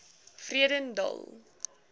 vredendal